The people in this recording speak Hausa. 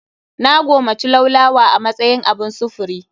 Na gomaci laulawa a matsayin abun sufuri.